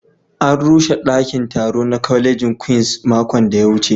An rushe daƙin taro na ƙwalejin Queens maƙon da ya wuce